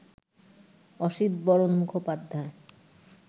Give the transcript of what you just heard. Asitbaran Mukhopadhyay